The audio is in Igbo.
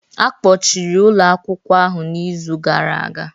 Akpọchiri ụlọ akwụkwọ ahụ n'izu gara aga